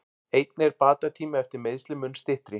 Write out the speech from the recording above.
Einnig er bata tími eftir meiðsli mun styttri.